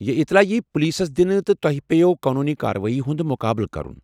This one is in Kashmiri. یہ اطلاع ییٖہٕ پُلیسَس دِنہٕ، تہٕ تۄہہ پیٚیوٕ قونوٗنی کاروٲیی ہُند مُقابلہٕ کرُن ۔